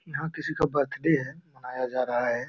यहाँ किसी का बर्थ डे है मनाया जा रहा है ।